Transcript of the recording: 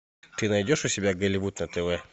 ты найдешь у себя голливуд на тв